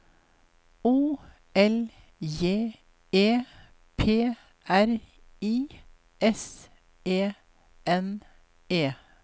O L J E P R I S E N E